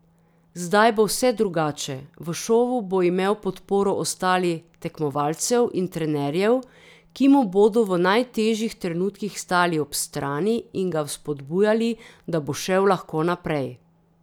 Zdaj bo vse drugače, v šovu bo imel podporo ostali tekmovalcev in trenerjev, ki mu bodo v najtežjih trenutkih stali ob strani in ga vzpodbujali, da bo šel lahko naprej.